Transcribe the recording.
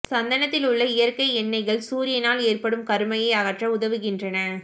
சந்தனத்தில் உள்ள இயற்கை எண்ணெய்கள் சூரியனால் ஏற்படும் கருமையை அகற்ற உதவுகின்றன